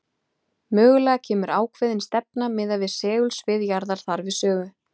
Mögulega kemur ákveðin stefna miðað við segulsvið jarðar þar við sögu.